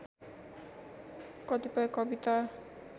कतिपय कविता